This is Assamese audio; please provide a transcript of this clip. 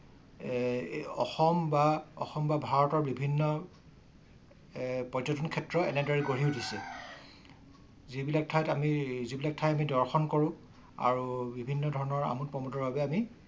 অসম বা অসম বা ভাৰতৰ বিভিন্ন পযটন ক্ষেত্ৰ এনেদৰে গঢ়ি উঠিছে। যিবিলাক ঠাই যিবিলাক ঠাই দৰ্শন কৰোঁ আৰু বিভিন্ন ধৰণৰ আমোদ প্ৰমোদৰ বাবে আমি অসম বা ভাৰতৰ বিভিন্ন পযৰ্তন খেত্ৰ এনে দৰে গঢ়ি উঠিছে। যিবিলাক ঠাই যিবিলাক ঠাই দৰ্শন কৰোঁ আৰু বিভিন্ন ধৰণৰ আমোদ প্ৰমোদৰ বাবে আমি